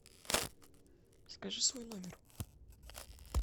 скажи свой номер